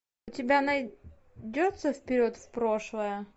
у тебя найдется вперед в прошлое